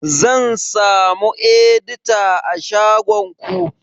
Zan samu edita a shagon ku?